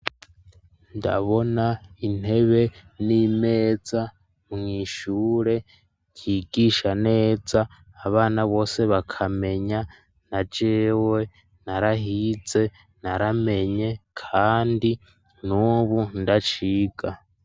Ndabona intebe n'imeza mwishure yigisha neza abana bose bakamenya na jewe narahize naramenye kandi nubu ndaciga.